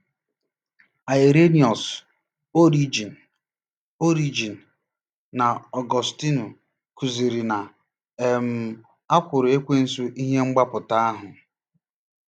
Irenaeus, Origen, Origen, na Ọgọstinu kụziri na um a kwụrụ Ekwensu ihe mgbapụta ahụ.